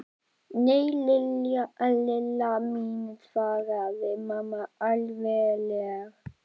Nei, Lilla mín svaraði mamma alvarleg.